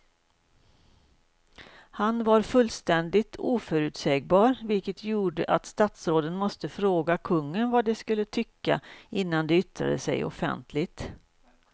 Han var fullständigt oförutsägbar vilket gjorde att statsråden måste fråga kungen vad de skulle tycka innan de yttrade sig offentligt.